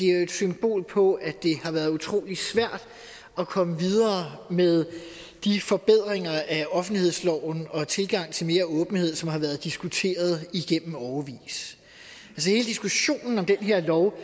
er et symbol på at har været utrolig svært at komme videre med de forbedringer af offentlighedsloven og tilgang til mere åbenhed som har været diskuteret i årevis hele diskussionen om den her lov